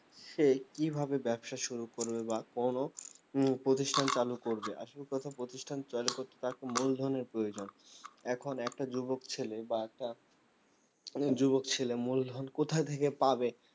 সে কিভাবে ব্যবসা শুরু করবে বা কোনও হম প্রতিষ্ঠান চালু করবে আসল কথা প্রতিষ্ঠান চালু করতে তাকে মূলধনের প্রয়জোন এখন একটা যুবক ছেলে বা তা অনেক যুবক ছেলে মূলধন কোথা থেকে পাবে